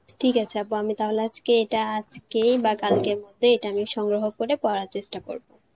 ঠিক আছে আপা, আমি তাহলে আজকে এটা আজকেই বা কালকে তে এটা আমি সংগ্রহ করে পড়ার চেষ্টা করব